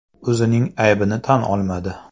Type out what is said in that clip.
U o‘zining aybini tan olmadi.